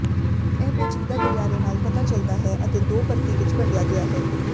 ਇਹ ਪੇਚੀਦਾ ਗਲਿਆਰੇ ਨਾਲ ਪਤਾ ਚੱਲਦਾ ਹੈ ਅਤੇ ਦੋ ਪਰਤੀ ਵਿੱਚ ਵੰਡਿਆ ਗਿਆ ਹੈ